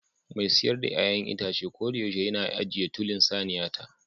Mai siyar da 'ya'yan itace koyaushe yana ajiye tulin saniyata